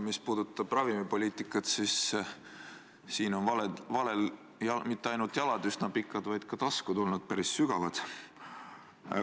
Mis puudutab ravimipoliitikat, siis siin on valel mitte ainult jalad üsna pikad, vaid ka taskud päris sügavad.